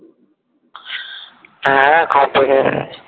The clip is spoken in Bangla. হ্যাঁ হ্যাঁ complete হয়ে গেছে